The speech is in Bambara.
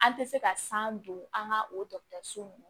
An tɛ se ka san don an ka o dɔgɔtɔrɔso nunnu